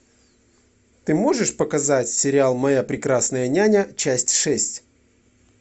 ты можешь показать сериал моя прекрасная няня часть шесть